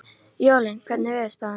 Jólín, hvernig er veðurspáin?